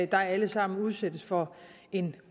der alle sammen udsættes for en